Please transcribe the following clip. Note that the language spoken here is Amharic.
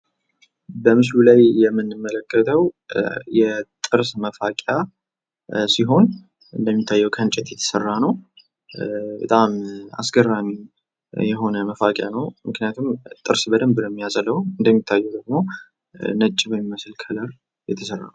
በምስሉ ላይ የምንመለከተው የጥርስ መፋቂያ ሲሆን፤ እንደሚታየው ከእንጨት የተሰራ ነው፤ በጣም የሚገርም ነው ። ምክንያቱም በጣም ነው የሚያጸዳው። እንደምታዩት ነጭ ቀለም አለው።